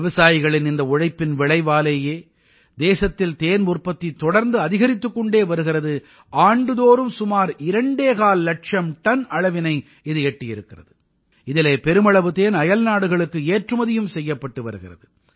விவசாயிகளின் இந்த உழைப்பின் விளைவாலேயே தேசத்தில் தேன் உற்பத்தி தொடர்ந்து அதிகரித்துக் கொண்டே வருகிறது ஆண்டுதோறும் சுமார் இரண்டேகால் இலட்சம் டன் அளவினை இது எட்டியிருக்கிறது இதிலே பெருமளவு தேன் அயல்நாடுகளுக்கு ஏற்றுமதியும் செய்யப்பட்டு வருகிறது